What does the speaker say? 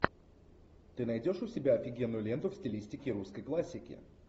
ты найдешь у себя офигенную ленту в стилистике русской классики